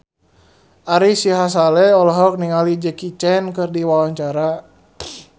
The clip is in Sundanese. Ari Sihasale olohok ningali Jackie Chan keur diwawancara